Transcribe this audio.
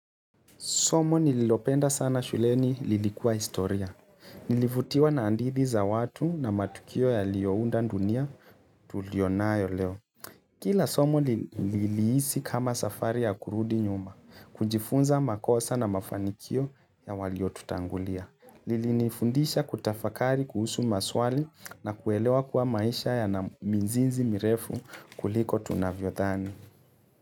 Somo nililopenda sana shuleni lilikuwa historia. Nilivutiwa na hadthi za watu na matukio yaliyounda dunia tuliyonayo leo. Kila somo lilihisi kama safari ya kurudi nyuma. Kujifunza makosa na mafanikio ya walio tutangulia. Lilinifundisha kutafakari kuhusu maswali na kuelewa kuwa maisha ya na mizizi mirefu kuliko tunavyodhani.